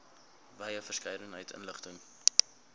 wye verskeidenheid inligting